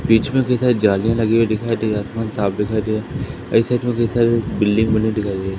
बीच में कैसा जाली लगे हुए दिखाई दिया आसमान साफ दिखाई दिया ऐसा बिल्डिंग बनी दिखाई दे--